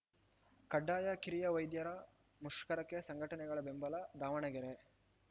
ಕಡ್ಡಾಯ ಕಿರಿಯ ವೈದ್ಯರ ಮುಷ್ಕರಕ್ಕೆ ಸಂಘಟನೆಗಳ ಬೆಂಬಲ ದಾವಣಗೆರೆ